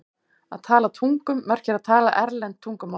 Að tala tungum merkir að tala erlend tungumál.